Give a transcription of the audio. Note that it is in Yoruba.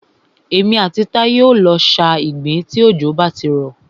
Èmi àti Táyé o lọ sa ìgbín tí òjò bá ti rọ̀.